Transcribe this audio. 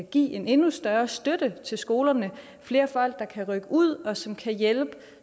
giver en endnu større støtte til skolerne flere folk der kan rykke ud og som kan hjælpe